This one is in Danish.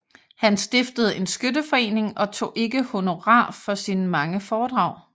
Han stiftede en skytteforening og tog ikke honorar for sine mange foredrag